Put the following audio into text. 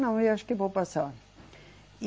Não, eu acho que vou passar. E